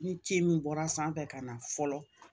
Ni ci min bɔra sanfɛ ka na fɔlɔ